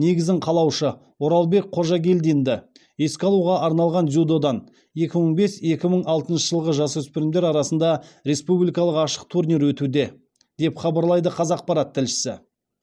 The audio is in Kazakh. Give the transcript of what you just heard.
негізін қалаушы оралбек қожагелдинді еске алуға арналған дзюдодан екі мың бес екі мың алтыншы жылғы жасөспірімдер арасында республикалық ашық турнир өтуде деп хабарлайды қазақпарат тілшісі